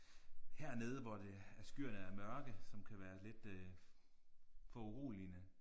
Hernede hvor det at skyerne er mørke som kan være lidt øh foruroligende